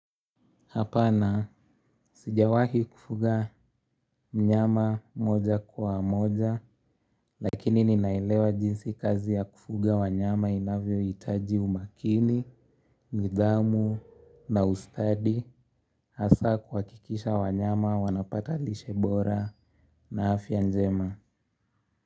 Hapana, sijawahi kufuga mnyama moja kwa moja, lakini ninaelewa jinsi kazi ya kufuga wanyama inavyo itaji umakini, nidhamu na ustadi, hasaa kwa kikisha wanyama wanapata lishebora na afyanjema.